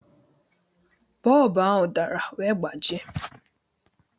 Bọlbụ ahụ dara wee gbajie